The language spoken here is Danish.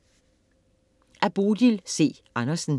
Af Bodil C. Andersen